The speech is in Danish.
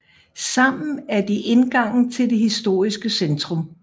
Sammen er de indgangen til det historiske centrum